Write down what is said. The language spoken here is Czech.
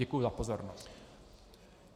Děkuji za pozornost.